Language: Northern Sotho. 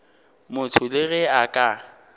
motho le ge a ka